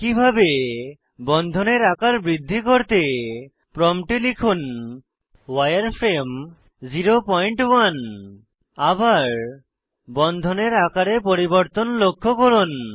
একইভাবে বন্ধনের আকার বৃদ্ধি করতে প্রম্পটে লিখুন উয়ারফ্রেমে 01 আবার বন্ধনের আকারে পরিবর্তন লক্ষ্য করুন